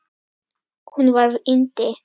Hún var yndi.